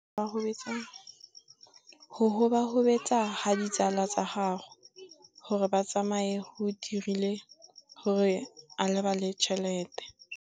Go gobagobetsa ga ditsala tsa gagwe, gore ba tsamaye go dirile gore a lebale tšhelete.